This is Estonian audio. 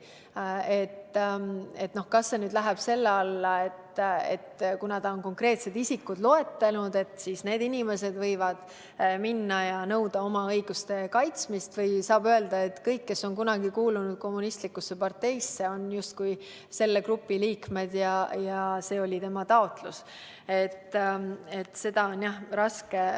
Kas see läheb selle alla, et kuna ta on konkreetsed isikud üles lugenud, siis võivad need inimesed minna ja nõuda oma õiguste kaitsmist, või saab öelda, et kõik, kes on kunagi kuulunud kommunistlikusse parteisse, on selle grupi liikmed ja oli tema taotlus?